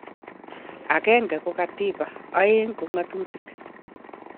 Agenge ko katiba, aeg ko ngatutik